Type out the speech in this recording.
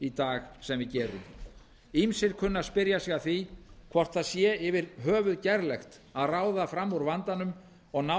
í dag sem við gerum ýmsir kunna að spyrja sig að því hvort það sé yfir höfuð gerlegt að ráða fram úr vandanum og ná